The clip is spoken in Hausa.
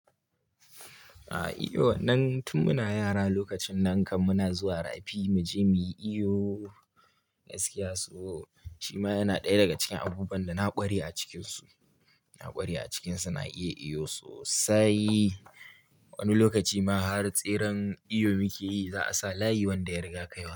A' eh, wannan tun muna yara lokacin nan kam muna zuwa rafi mu je mu yi iyo gaskiya, so shima yana ɗaya daga cikin abubuwan da na ƙware a cikinsu. Na ƙware a cikinsu, na iya iyo sosai. Wani lokaci ma har tseren iyo muke yi, za a sa layi wanda ya riga kaiwa.